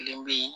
Kelen bɛ ye